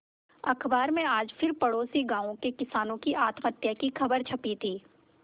अखबार में आज फिर पड़ोसी गांवों के किसानों की आत्महत्या की खबर छपी थी